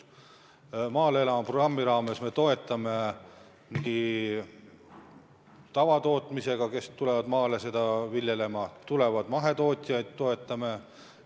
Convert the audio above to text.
"Maale elama!" programmi raames me toetame inimesi, kes tulevad maale tegelema tavatootmisega, aga ka mahetootjaid toetame.